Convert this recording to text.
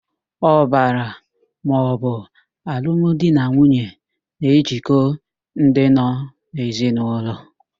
Ọbara maọbụ alụmdinanwuye na-ejikọ ndị nọ n'ezinaụlọ.